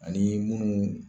Ani munnu